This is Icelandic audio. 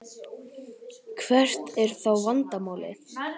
Hvert er þá vandamálið?